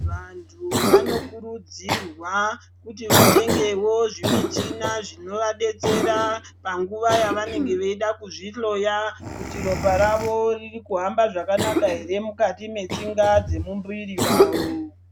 Vantu vanokurudzirwa kuti vatengewo zvimichina zvinovabetsera nguva yavanenge vachida kuzvihloya kuti ropa ravo ririkuhamba zvakanaka here mukati metsinga dziri mumbiri yavo.